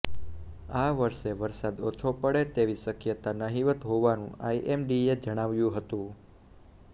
આ વરસે વરસાદ ઓછો પડે એવી શક્યતા નહિવત્ હોવાનું આઈએમડીએ જણાવ્યું હતું